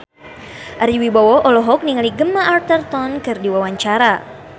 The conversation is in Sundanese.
Ari Wibowo olohok ningali Gemma Arterton keur diwawancara